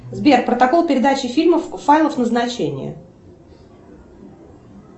сбер протокол передачи фильмов файлов назначения